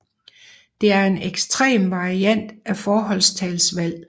Det er en ekstrem variant af forholdstalsvalg